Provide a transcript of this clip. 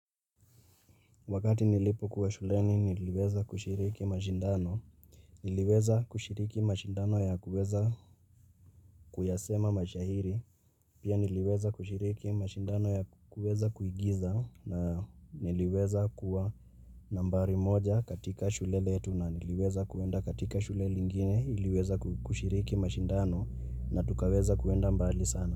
Wakati nilipokuwa shuleni niliweza kushiriki mashindano. Niliweza kushiriki mashindano ya kuweza kuyasema mashairi. Pia niliweza kushiriki mashindano ya kuweza kuigiza na niliweza kuwa nambari moja katika shule letu na niliweza kuenda katika shule lingine iliweza kushiriki mashindano na tukaweza kuenda mbali sana.